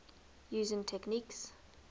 using techniques